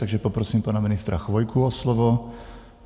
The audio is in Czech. Takže poprosím pana ministra Chvojku o slovo.